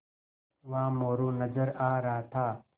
वहाँ मोरू नज़र आ रहा था